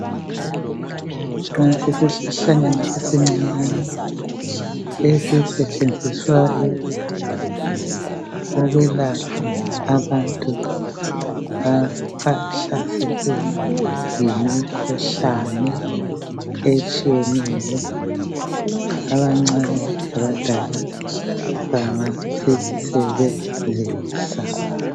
Isihlahlanyana esincane ezisetshenziswa ukwelapha abantu abahlaselwe yimikhuhlane etshiyeneyo abancane abadala bangasisebenzisa